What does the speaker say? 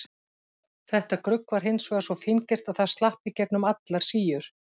Þetta grugg var hins vegar svo fíngert að það slapp í gegnum allar síur.